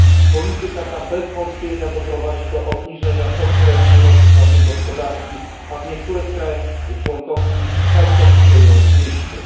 Polityka ta bez wątpienia doprowadzi do obniżenia konkurencyjności naszej gospodarki, a w niektórych państwach członkowskich całkowicie ją zniszczy.